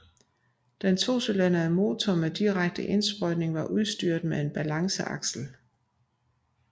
Den tocylindrede motor med direkte indsprøjtning var udstyret med balanceaksel